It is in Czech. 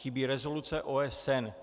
Chybí rezoluce OSN.